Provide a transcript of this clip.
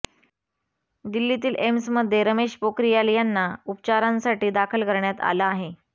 दिल्लीतील एम्समध्ये रमेश पोखरियाल यांना उपचारांसाठी दाखल करण्यात आलं आहे